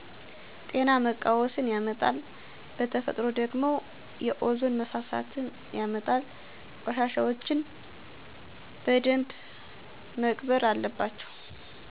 ጤና መቃወስን ያመጣል በተፈጥሮ ደግሞ የኦዞን መሳሳትን ያመጣል። ቆሻሻወችን በደንብ መቅበር አለባቸው።